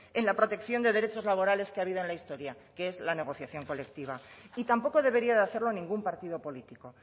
en la protección de derechos laborales que ha habido en la historia que es en la negociación colectiva y tampoco debería de hacerlo ningún partido político